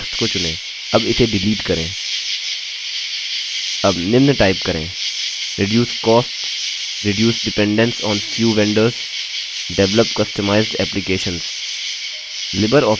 अब निम्न टाइप करें : reduce costs reduce dependence on few vendors develop customized applications